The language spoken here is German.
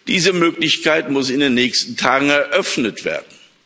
Diese Möglichkeit muss in den nächsten Tagen eröffnet werden.